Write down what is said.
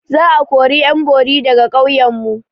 Za a kori ƴan bori daga ƙauyan mu.